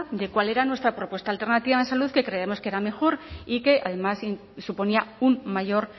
de cuál era nuestra propuesta alternativa en salud que creemos que era mejor y que además suponía un mayor